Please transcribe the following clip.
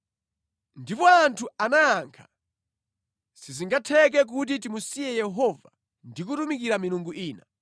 Ndipo anthu anayankha, “Sizingatheke kuti timusiye Yehova ndi kutumikira milungu ina!